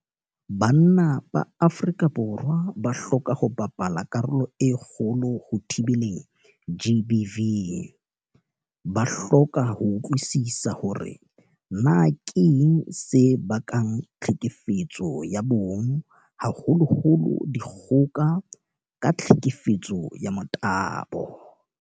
Banna ba Afrika Borwa ba hloka ho bapala karolo e kgolo ho thibeleng GBV. Ba hloka ho utlwisisa hore na keng se bakang tlhekefetso ya bong, haholoholo dikgoka ka tlhekefetso ya motabo.